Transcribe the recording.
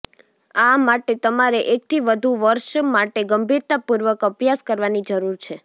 આ માટે તમારે એકથી વધુ વર્ષ માટે ગંભીરતાપૂર્વક અભ્યાસ કરવાની જરૂર છે